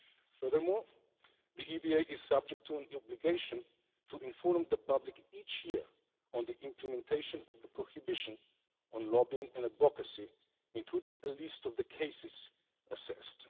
Furthermore, the EBA is subject to an obligation to inform the public each year on the implementation of the prohibition on lobbying and advocacy, including a list of the cases assessed.